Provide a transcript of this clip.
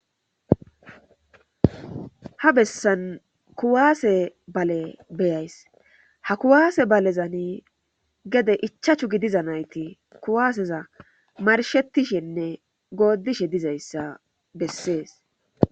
Ha bessan kuwaase bale beyays ha kuwaase balezani gede ichachu gidiza nayti kuwaaseza marshettishenne goodishe dizayssa bessees